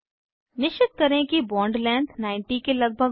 निश्चित करें कि बॉन्ड लेंथ 90 के लगभग हो